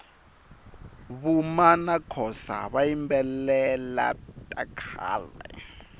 vuma nakhosa vayimbelela takhale